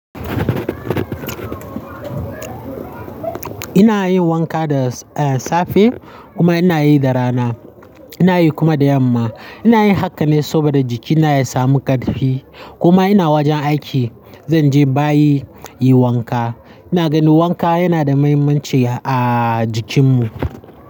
Ina yin wanka da, eh, safe kuma ina yi da rana. Ina yi kuma da yamma. Ina yin haka ne saboda jikina ya samu ƙarfi kuma ina wajen aiki, zan je bayi yi wanka. Ina ganin wanka yana da mahimmanci a jikinmu.